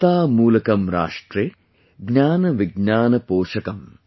एकता मूलकम् राष्ट्रे, ज्ञान विज्ञान पोषकम् |